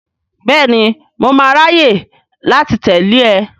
Bẹ́ẹ̀ni, mo máa ráyè láti tẹ̀lé e.